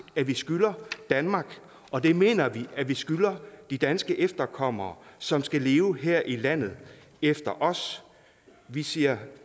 vi skylder danmark og det mener vi vi skylder de danske efterkommere som skal leve her i landet efter os vi siger